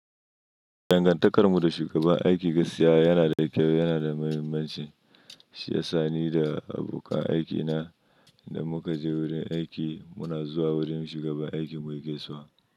Dangantakarmu da shugaban aiki gaskiya yana da kyau, yana da muhimmanci. Shi ya sani da abokan aikina. Inda muka je wurin aiki, muna zuwa wurin shugaban aikin mu yake zuwa.